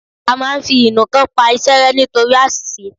A máa ń fi ìnuǹkan pa iṣẹ́ rẹ́ ni nítorí àṣìṣe